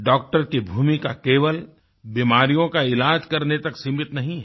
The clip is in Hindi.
डॉक्टर की भूमिका केवल बीमारियों का इलाज़ करने तक सीमित नहीं है